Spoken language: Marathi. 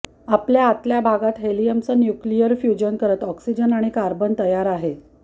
आपल्या आतल्या भागात हेलियम चं न्यूक्लीयर फ्युजन करत ऑक्सिजन आणि कार्बन तयार आहे